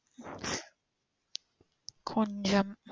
கொஞ்சம்.